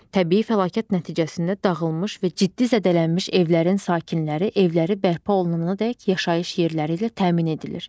Təbii fəlakət nəticəsində dağılmış və ciddi zədələnmiş evlərin sakinləri evləri bərpa olunanadək yaşayış yerləri ilə təmin edilir.